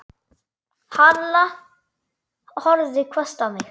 Halla horfði hvasst á mig.